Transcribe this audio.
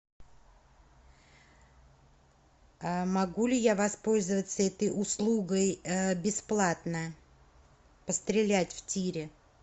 могу ли я воспользоваться этой услугой бесплатно пострелять в тире